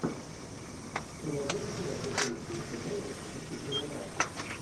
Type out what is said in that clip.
ты найдешь у себя прикольный киношедевр в духе криминала